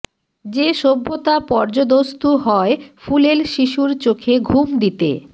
যে সভ্যতা পর্যুদস্তু হয় ফুলেল শিশুর চোখে ঘুম দিতে